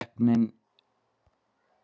Keppnin er afar jöfn